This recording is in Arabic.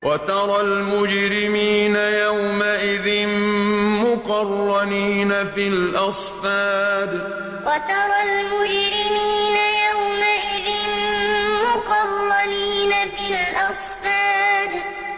وَتَرَى الْمُجْرِمِينَ يَوْمَئِذٍ مُّقَرَّنِينَ فِي الْأَصْفَادِ وَتَرَى الْمُجْرِمِينَ يَوْمَئِذٍ مُّقَرَّنِينَ فِي الْأَصْفَادِ